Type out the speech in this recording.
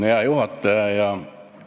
Hea juhataja!